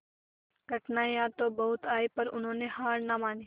कठिनाइयां तो बहुत आई पर उन्होंने हार ना मानी